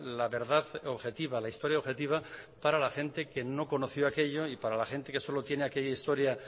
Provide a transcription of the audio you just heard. la verdad objetiva la historia objetiva para la gente que no conoció aquello y para la gente que solo tiene aquella historia